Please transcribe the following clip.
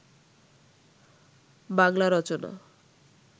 Bangla Rachana